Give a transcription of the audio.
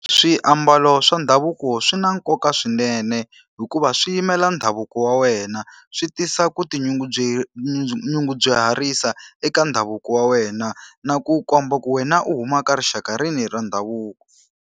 swiambalo swa ndhavuko swi na nkoka swinene, hikuva swi yimela ndhavuko wa wena. Swi tisa ku nyungubyisa eka ndhavuko wa wena na ku komba ku wena u huma ka rixaka rini ra ndhavuko.